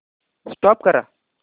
stop करा